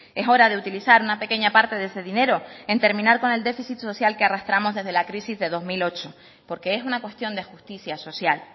es hora de utilizar una pequeña parte de ese dinero en terminar con el déficit social que arrastramos desde la crisis de dos mil ocho porque es una cuestión de justicia social